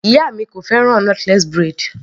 Ìyá mi kò fẹ́ràn knotless braid.